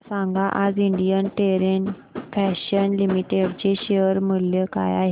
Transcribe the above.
सांगा आज Indian terrain fashions limited चे शेअर मूल्य काय आहे